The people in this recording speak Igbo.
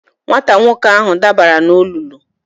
Nwata nwoke ahụ dabara n'olulu.